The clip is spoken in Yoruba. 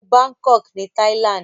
Wo Bangkok ní Thailand.